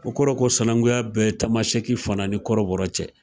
O kɔrɔ ko sanankuya bɛ tamasɛki fana ni kɔrɔbɔrɔ cɛ.